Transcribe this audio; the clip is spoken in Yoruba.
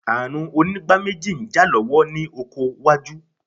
Ààrùn onígbáméjì ń jà lọ́wọ́ ní oko wájú.